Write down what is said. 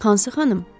Hansı xanım?